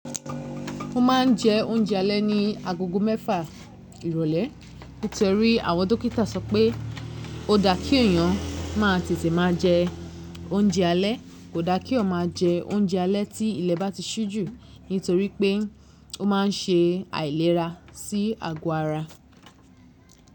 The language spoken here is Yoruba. Mo maa n je ounjẹ alẹ́ ní agogo mẹ́fà ìrólé. Nítorí àwọn dókítà sọ pé ó daá kí èyàn máa tètè máa jẹ oúnjẹ alẹ́, kò daá keeyan máa jẹ oúnjẹ alẹ́ tí ilẹ̀ bá ti ṣú jù nítorí pé ó ma n ṣe àìlera sí àgọ́ ara.